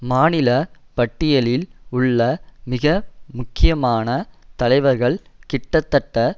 மாநில பட்டியலில் உள்ள மிக முக்கியமன தலைவர்கள் கிட்டத்தட்ட